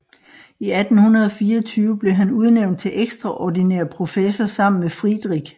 I 1824 blev han udnævnt til ekstraordinær professor sammen med Friedrich